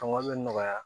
Fanga bɛ nɔgɔya